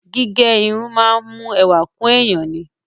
Gígẹ irun máa ń mú ẹwà kún èèyàn ni.